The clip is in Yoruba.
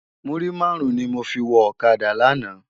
Múrí márùn ni mó fi wò òkádá làná